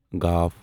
گ